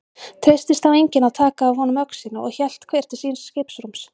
Treystist þá enginn að taka af honum öxina og hélt hver til síns skipsrúms.